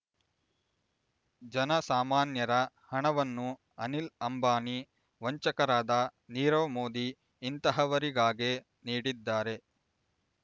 ಜನ ಸಾಮಾನ್ಯರ ಹಣವನ್ನು ಅನಿಲ್ ಅಂಬಾನಿ ವಂಚಕರಾದ ನೀರವ್ ಮೋದಿ ಇಂತಹವರಿಗಾಗೇ ನೀಡಿದ್ದಾರೆ